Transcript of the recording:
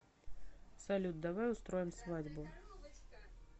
салют давай устроим свадьбу